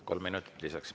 Kolm minutit lisaks.